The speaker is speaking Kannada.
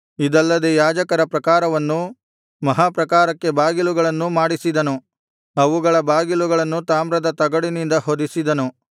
ಇದಲ್ಲದೆ ಯಾಜಕರ ಪ್ರಾಕಾರವನ್ನೂ ಮಹಾಪ್ರಾಕಾರವನ್ನೂ ಮಹಾಪ್ರಾಕಾರಕ್ಕೆ ಬಾಗಿಲುಗಳನ್ನೂ ಮಾಡಿಸಿದನು ಅವುಗಳ ಬಾಗಿಲುಗಳನ್ನು ತಾಮ್ರದ ತಗಡಿನಿಂದ ಹೊದಿಸಿದನು